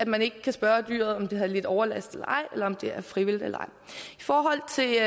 man ikke kan spørge dyret om det har lidt overlast eller ej eller om det er frivilligt eller ej i forhold til